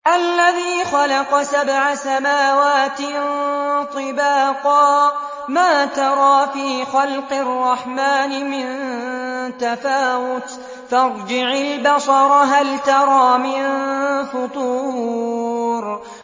الَّذِي خَلَقَ سَبْعَ سَمَاوَاتٍ طِبَاقًا ۖ مَّا تَرَىٰ فِي خَلْقِ الرَّحْمَٰنِ مِن تَفَاوُتٍ ۖ فَارْجِعِ الْبَصَرَ هَلْ تَرَىٰ مِن فُطُورٍ